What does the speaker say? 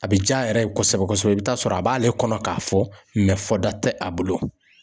A bɛ ja yɛrɛ kosɛbɛ kosɛbɛ, i bɛ taa sɔrɔ a b'ale kɔnɔ k'a fɔ fɔ da tɛ a bolo.